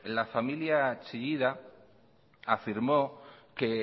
la familia chillida afirmó que